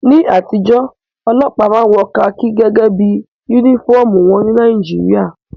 Ní àtijọ́, ọlọ́pàá máa ń wọ kakí gẹ́gẹ́ bí yúnífọ̀mù wọn ní Nàìjíríà